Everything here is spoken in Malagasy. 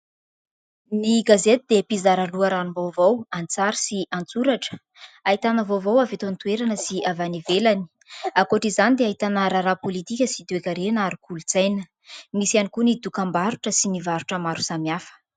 Ny gazety dia mpizara loharanom-baovao an-tsary sy an-tsoratra. Ahitana vaovao avy eto an-toerana sy avy any ivelany. Ankoatr'izany dia ahitana raharaha politika sy toekarena ary kolontsaina. Misy hiany koa ny dokambarotra sy ny varotra maro samihafa.